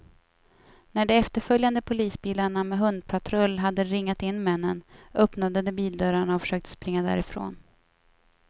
När de efterföljande polisbilarna med hundpatrull hade ringat in männen, öppnade de bildörrarna och försökte springa därifrån.